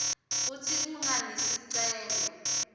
kutsi kungani sicelo